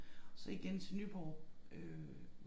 Så igen til Nyborg øh